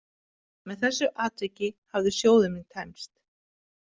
Með þessu atviki hafði sjóður minn tæmst.